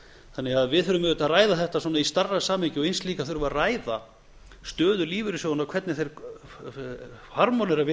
þannig að við þurfum auðvitað að ræða þetta í stærra samhengi og eins líka þurfum við að ræða stöðu lífeyrissjóðanna hvernig hún harmónerar við